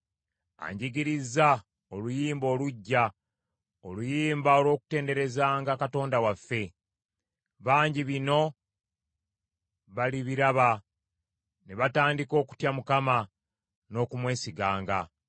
Anjigirizza oluyimba oluggya, oluyimba olw’okutenderezanga Katonda waffe. Bangi bino balibiraba ne batandika okutya Mukama n’okumwesiganga.